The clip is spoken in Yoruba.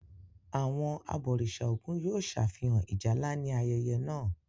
Àwọn àbòrìṣà Ògùn yóò ṣàfihàn Ìjálá ní ayẹyẹ náà.